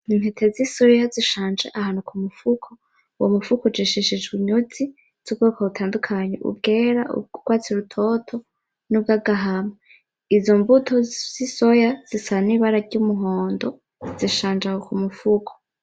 Intete z'isoya zishanje ahantu ku mufuko . Uwo mufuko ujishishijwe inyuzi z'ubwoko butandukanye. Izera, iz'urwatsi rutoto n'izagahama Izo mbuto z'isoya zisa n'ibara ry'umuhondo zishanje aho ku mufuko.